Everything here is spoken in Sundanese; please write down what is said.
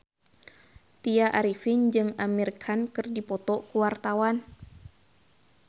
Tya Arifin jeung Amir Khan keur dipoto ku wartawan